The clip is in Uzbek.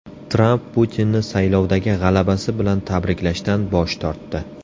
Tramp Putinni saylovdagi g‘alabasi bilan tabriklashdan bosh tortdi.